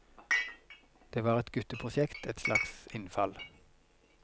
Det var et gutteprosjekt, et slags innfall.